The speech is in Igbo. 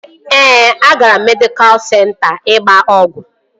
Ee, agara m medịkal senta ịgba ọgwụ